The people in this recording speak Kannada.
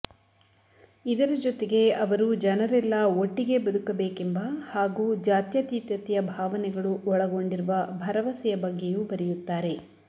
ಇದರ ಜೊತೆಗೆ ಅವರು ಜನರೆಲ್ಲ ಒಟ್ಟಿಗೆ ಬದುಕಬೇಕೆಂಬ ಹಾಗೂ ಜಾತ್ಯತೀತತೆಯ ಭಾವನೆಗಳು ಒಳಗೊಂಡಿರುವ ಭರವಸೆಯ ಬಗ್ಗೆಯೂ ಬರೆಯುತ್ತಾರೆ